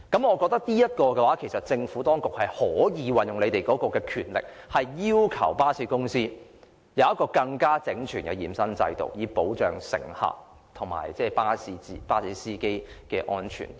我認為政府當局可以運用權力，要求巴士公司提供更整全的驗身制度，以保障乘客和巴士司機的安全。